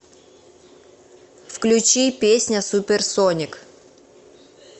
включи песня суперсоник